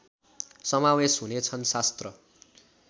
समावेश हुनेछन् शास्त्र